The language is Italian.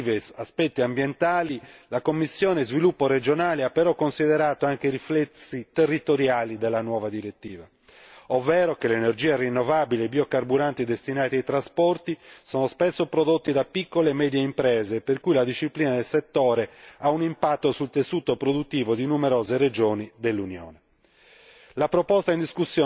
Oltre agli aspetti ambientali positivi certi, la commissione per lo sviluppo regionale ha però considerato anche i riflessi territoriali della nuova direttiva, ovvero che l'energia rinnovabile e i biocarburanti destinati ai trasporti sono spesso prodotti da piccole e medie imprese, per cui la disciplina del settore ha un impatto sul tessuto produttivo di numerose regioni dell'Unione.